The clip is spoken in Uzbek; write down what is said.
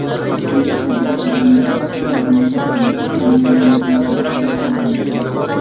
Uning o‘g‘illaridan biri Farovonlik davlat jamg‘armasini boshqarib kelmoqda.